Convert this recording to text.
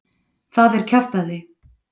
Það er kjaftæði.